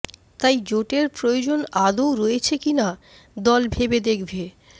তাই জোটের প্রয়োজন আদৌ রয়েছে কিনা দল ভেবে দেখবে